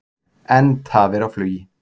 Enn tafir á flugi